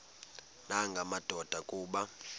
nanga madoda kuba